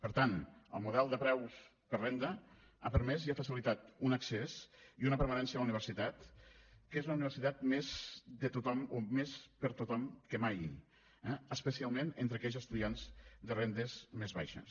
per tant el model de preus per renda ha permès i ha facilitat un accés i una permanència a la universitat que és la universitat més de tothom o més per a tothom que mai eh especialment entre aquells estudiants de rendes més baixes